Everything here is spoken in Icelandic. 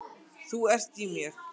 Þú ert í mér.